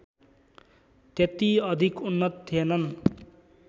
त्यति अधिक उन्नत थिएनन्